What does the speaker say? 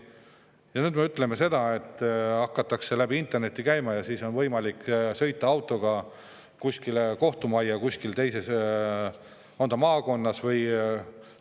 Ja nüüd me ütleme seda, et hakatakse läbi interneti kohtus käima või siis on võimalik sõita autoga kuskile kohtumajja teises maakonna.